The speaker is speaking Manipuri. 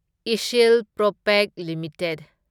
ꯢꯁꯁꯤꯜ ꯄ꯭ꯔꯣꯄꯦꯛ ꯂꯤꯃꯤꯇꯦꯗ